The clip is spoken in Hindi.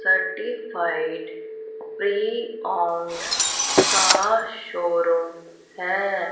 सर्टिफाइड प्री ओंड का शोरूम है।